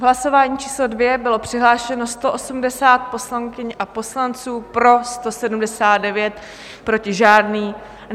V hlasování číslo 2 bylo přihlášeno 180 poslankyň a poslanců, pro 179, proti žádný.